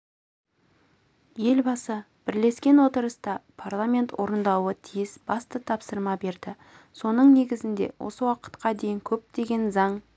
елбасы бірлескен отырыста парламент орындауы тиіс басты тапсырма берді соның негізінде осы уақытқа дейін көптеген заң